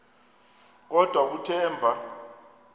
kodwa kuthe emva